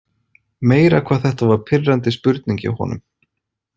Meira hvað þetta var pirrandi spurning hjá honum.